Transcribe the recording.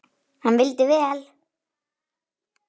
Hann vildi vel.